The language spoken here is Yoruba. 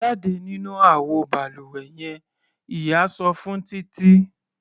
Jáde nínú àwo balùwẹ yen! Ìyá sọ fún Títí.